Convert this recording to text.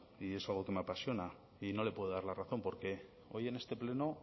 y es algo que me apasiona y no le puedo dar la razón porque hoy en este pleno